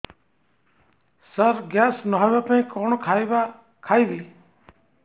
ସାର gas ନ ହେବା ପାଇଁ କଣ ଖାଇବା ଖାଇବି